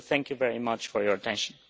So thank you very much for your attention.